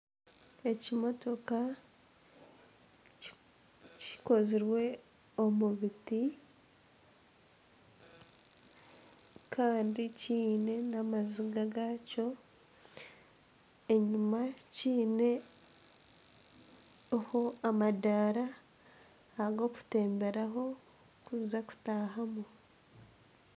Ekimotoka kikozirwe omu biti kandi kiine n'amaziga gakyo enyima kiineho amadaara ag'okutemberaho orikuza kutahamu.